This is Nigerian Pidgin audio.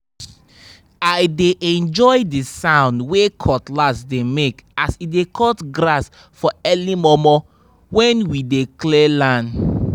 i dey enjoy the sound wey cutlass dey make as e dey cut grass for early momo when we dey clear land